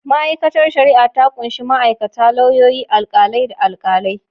Ma’aikatar shari’a ta kunshi ma’aikata, lauyoyi, alkalai, da alkalai.